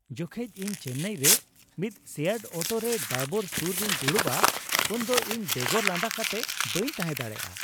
ᱡᱚᱠᱷᱮᱡ ᱤᱧ ᱪᱮᱱᱱᱟᱭ ᱨᱮ ᱢᱤᱫ ᱥᱮᱭᱟᱨᱰ ᱚᱴᱳ ᱨᱮ ᱰᱟᱭᱵᱚᱨ ᱥᱩᱨ ᱨᱮᱧ ᱫᱩᱲᱩᱵᱼᱟ ᱩᱱᱫᱚ ᱤᱧ ᱵᱮᱜᱚᱨ ᱞᱟᱸᱫᱟ ᱠᱟᱛᱮᱜ ᱵᱟᱹᱧ ᱛᱟᱦᱮᱸ ᱫᱟᱲᱮᱭᱟᱜᱼᱟ ᱾